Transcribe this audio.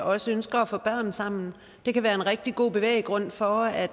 også ønsker at få børn sammen det kan være en rigtig god bevæggrund for at